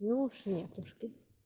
ну уж нетушки